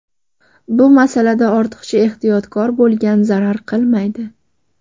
Bu masalada ortiqcha ehtiyotkor bo‘lgan zarar qilmaydi.